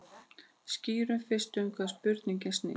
Skýrum fyrst um hvað spurningin snýst.